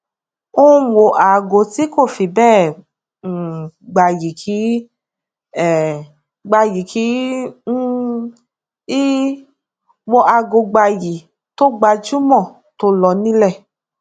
ó ń wọ aago tí kò fi bẹẹ um gbayì kì um gbayì kì um í wọ aago gbayì tó gbajúmọ tó lọ nílẹ